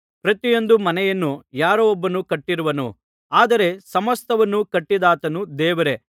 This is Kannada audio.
ಪ್ರತಿಯೊಂದು ಮನೆಯನ್ನು ಯಾರೊಬ್ಬನು ಕಟ್ಟಿರುವನು ಆದರೆ ಸಮಸ್ತವನ್ನು ಕಟ್ಟಿದಾತನು ದೇವರೇ